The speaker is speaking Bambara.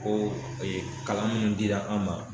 Ko kalan minnu dira an ma